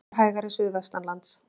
Heldur hægari suðvestanlands